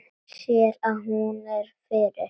Sér að hún er fyrir.